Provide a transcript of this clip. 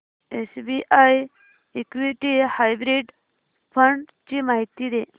SBI equity hybrid fund ची माहिती दे